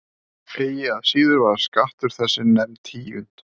Eigi að síður var skattur þessi nefnd tíund.